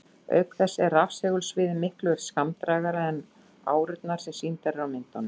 Auk þess er rafsegulsviðið miklu skammdrægara en árurnar sem sýndar eru á myndum.